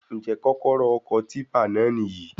Njẹ kọ́kọ́rọ́ ọkọ̀ típà náà níyì?